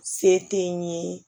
Se tɛ n ye